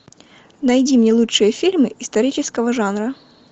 найди мне лучшие фильмы исторического жанра